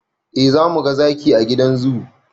Eh zamuga zaki a gidan zoo